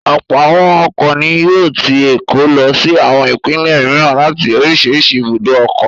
Ọ̀pọ̀ àwọn ọkọ̀ ni yóò ti Èkó lọ sí àwọn ìpínlẹ̀ mìíràn láti oríṣiríṣi ibùdó ọkọ̀.